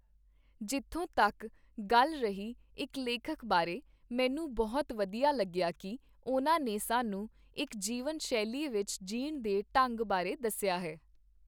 ਜਿੱਥੋਂ ਤੱਕ ਗੱਲ ਰਹੀ ਇੱਕ ਲੇਖਕ ਬਾਰੇ, ਮੈਨੂੰ ਬਹੁਤ ਵਧੀਆ ਲੱਗਿਆ ਕਿ, ਉਨ੍ਹਾਂ ਨੇ ਸਾਨੂੰ ਇੱਕ ਜੀਵਨ ਸ਼ੈਲੀ ਵਿੱਚ ਜੀਣ ਦੇ ਢੰਗ ਬਾਰੇ ਦੱਸਿਆ ਹੈ